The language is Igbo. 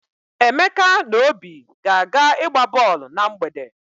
Emeka na Obi ga-aga ịgba bọọlụ na mgbede.